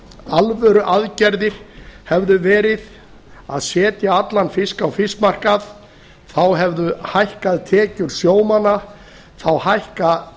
alvöruaðgerðir hefðu verið að setja allan fisk á fiskmarkað þá hefðu hækkað tekjur sjómanna þá hækka